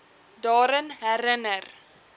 daaraan herin ner